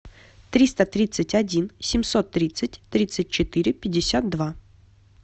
триста тридцать один семьсот тридцать тридцать четыре пятьдесят два